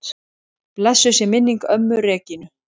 Blessuð sé minning ömmu Regínu.